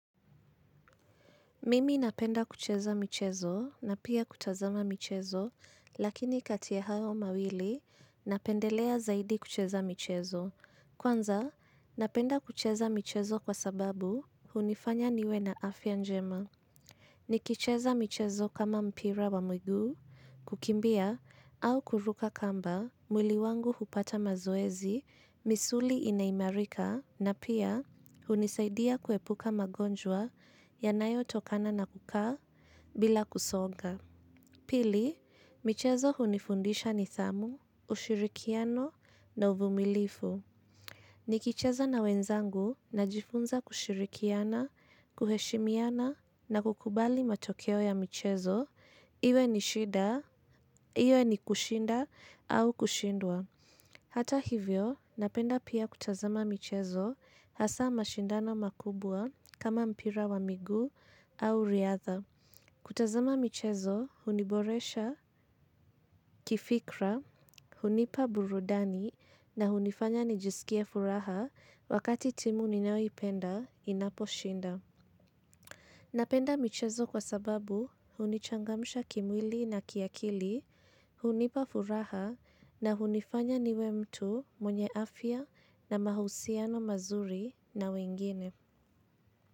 Mimi napenda kucheza michezo na pia kutazama michezo lakini kati ya hayo mawili napendelea zaidi kucheza michezo. Kwanza napenda kucheza michezo kwa sababu hunifanya niwe na afya njema. Nikicheza michezo kama mpira wa miguu kukimbia au kuruka kamba mwili wangu hupata mazoezi misuli inaimarika na pia hunisaidia kuepuka magonjwa yanayotokana na kukaa bila kusonga. Pili, michezo hunifundisha nidhamu, ushirikiano na uvumilivu. Nikicheza na wenzangu najifunza kushirkiana, kuheshimiana na kukubali matokeo ya michezo iwe ni shida iwe ni kushinda au kushindwa. Hata hivyo, napenda pia kutazama michezo hasa mashindana makubwa kama mpira wa migu au riatha. Kutazama michezo, huniboresha, kifikra, hunipa burudani na hunifanya nijisikie furaha wakati timu ninayoipenda inaposhinda. Napenda michezo kwa sababu hunichangmsha kimwili na kiakili hunipa furaha na hunifanya niwe mtu mwenye afya na mahusiano mazuri na wengine.